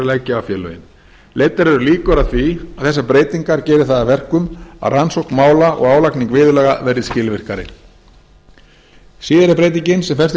leggja á félögin leiddar eru líkur að því að þessar breytingar geri það að verkum að rannsókn mála og álagning viðurlaga verði skilvirkari síðari breytingin sem felst í